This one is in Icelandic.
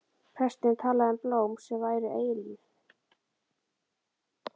Presturinn talaði um blóm sem væru eilíf.